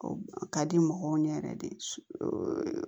O ka di mɔgɔw ɲɛ yɛrɛ de